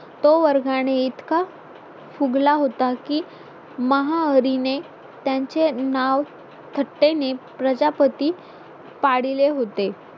तो वर्गाने इतका फुगला होता की महाहरीने त्यांचे नाव थट्टेने प्रजापती पाडले होते